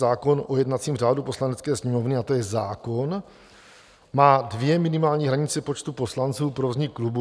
Zákon o jednacím řádu Poslanecké sněmovny, a to je zákon, má dvě minimální hranice počtu poslanců pro vznik klubu.